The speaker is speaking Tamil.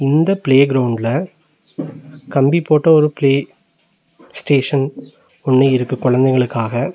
இந்த ப்ளே கிரௌண்ட்ல கம்பி போட்ட ஒரு ப்ளே ஸ்டேஷன் ஒன்னு இருக்கு கொழந்தைகளுக்காக.